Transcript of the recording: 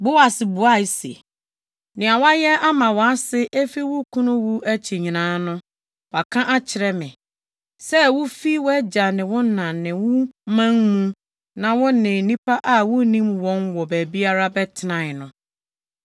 Boas buae se, “Nea woayɛ ama wʼase efi wo kunu wu akyi nyinaa no, wɔaka akyerɛ me, sɛ wufii wʼagya ne wo na ne wo man mu na wo ne nnipa a wunnim wɔn wɔ baabiara bɛtenae no.